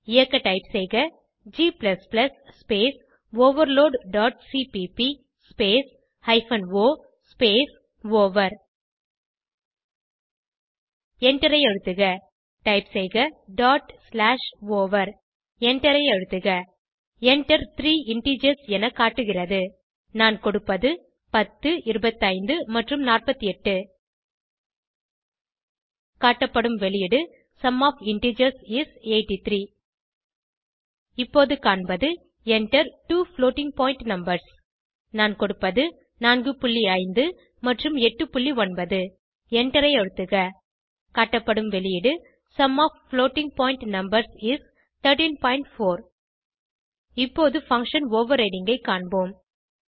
இயக்க டைப் செய்க g space overload dot CPP space hyphen O space over எண்டரை அழுத்துக டைப் செய்க டாட் ஸ்லாஷ் ஓவர் எண்டரை அழுத்துக Enter த்ரீ இன்டிஜர்ஸ் என காட்டுகிறது நான் கொடுப்பது 10 25 மற்றும் 48 காட்டப்படும் வெளியீடு சும் ஒஃப் இன்டிஜர்ஸ் இஸ் 83 இப்போது காண்பது Enter two floating point numbers நான் கொடுப்பது 45 மற்றும் 89 எண்டரை அழுத்துக காட்டப்படும் வெளியீடு sum of floating point numbers is 134 இப்போது பங்ஷன் ஓவர்ரைடிங் ஐ காண்போம்